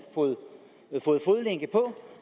fået fodlænke på